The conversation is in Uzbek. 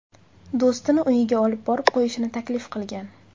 do‘stini uyiga olib borib qo‘yishini taklif qilgan.